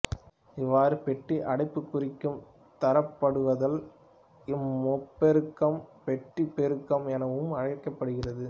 இவ்வாறு பெட்டி அடைப்புக்குறிக்குள் தரப்படுவதால் இம்முப்பெருக்கம் பெட்டிப்பெருக்கம் எனவும் அழைக்கப்படுகிறது